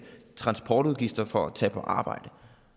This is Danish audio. sig at arbejde